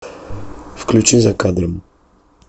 включи за кадром